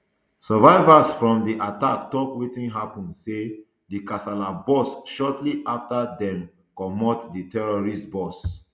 survivors from di attack tok wetin happun say di kasala burst shortly afta dem comot di tourist bus